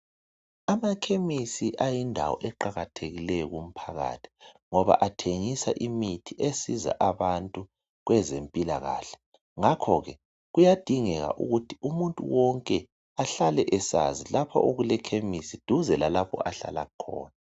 Amakhemisi ayindawo eqakathekileyo kumphakathi ngoba athengisa imithi. esiza abantu kwezempilakahle Ngakho ke kuyadingeka ukuthi umuntu wonke ahlale esazi lapho okulekhemisi duze lalapho ahlala khona.